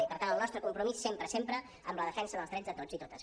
i per tant el nostre compromís sempre sempre amb la defensa dels drets de tots i totes